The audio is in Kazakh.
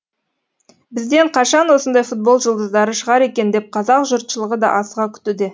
бізден қашан осындай футбол жұлдыздары шығар екен деп қазақ жұртшылығы да асыға күтуде